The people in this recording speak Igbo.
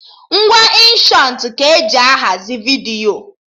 Ngwa Inshọtụ ka m ji ahazi vidiyo